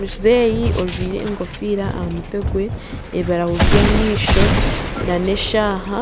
Muzeeyi ojwire enkofiira aha mutwe gwe ebirahuri by'amaisho n'eshaaha,